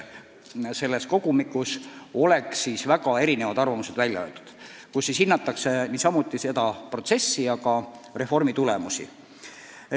Selles kogumikus oleks siis väga erinevad arvamused välja öeldud ning hinnatud kogu seda protsessi, aga ka reformi tulemusi.